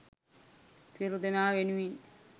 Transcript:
සියලු දෙනා වෙනුවෙන්